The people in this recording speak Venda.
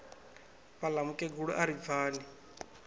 vhaḽa mukegulu a ri pfani